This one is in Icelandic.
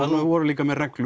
voru líka með reglur